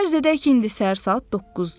Fərz edək ki, indi səhər saat 9-dur.